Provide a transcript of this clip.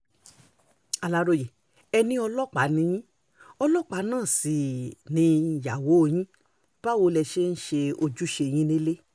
aláròye e ní ọlọ́pàá ni yín ọlọ́pàá náà sì níyàwó yín báwo lẹ ṣe ń ṣe ojúṣe yín nílẹ̀